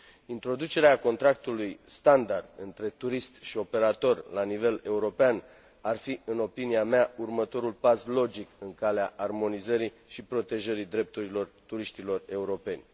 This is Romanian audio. Introducerea contractului standard între turist și operator la nivel european ar fi, în opinia mea, următorul pas logic în calea armonizării și protejării drepturilor turiștilor europeni.